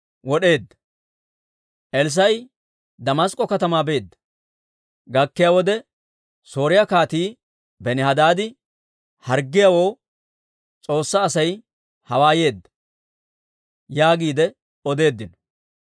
Elssaa'i Damask'k'o katamaa beedda; gakkiyaa wode, Sooriyaa Kaatii Benihadaadi harggiyaawoo, «S'oossaa Asay hawaa yeedda» yaagiide odeeddino.